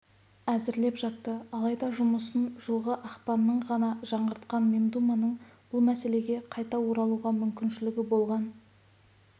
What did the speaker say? әзірлеп жатты алайда жұмысын жылғы ақпанның ғана жаңғыртқан мемдуманың бұл мәселеге қайта оралуға мүмкіншілігі болған